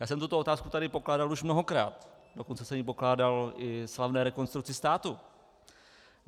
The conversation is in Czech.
Já jsem tuto otázku tady pokládal už mnohokrát, dokonce jsem ji pokládal i slavné Rekonstrukci státu.